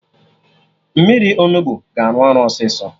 Mmiri Onugbu ga-arụ ọrụ ọsịsọ